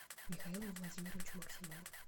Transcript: михаилу владимировичу максимову